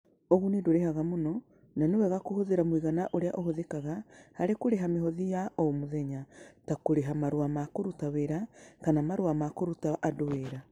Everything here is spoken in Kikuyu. Ũguni: Ndũgũrĩhaga mũno, na nĩ wega kũhũthĩra mũigana ũrĩa ũhũthĩkaga harĩ kũrĩha mĩhothi ya o mũthenya, ta kũrĩha marũa ma kũruta wĩra kana marũa ma kũruta andũ wĩra